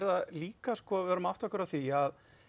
líka við verðum að átta okkur á því að